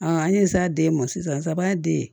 an ye sa den ma sisan sabaaden